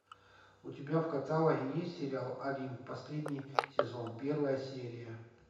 у тебя в каталоге есть сериал олимп последний сезон первая серия